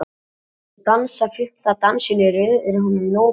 Þegar þau dansa fimmta dansinn í röð er honum nóg boðið.